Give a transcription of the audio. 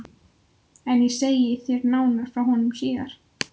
En ég segi þér nánar frá honum síðar.